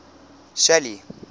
shelly